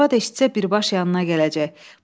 Arvad eşitsə birbaşa yanına gələcək.